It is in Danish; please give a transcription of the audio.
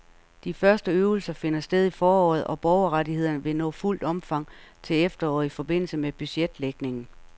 De første øvelser finder sted i foråret, og borgerrettighederne vil nå fuldt omfang til efteråret i forbindelse med budgetlægningen.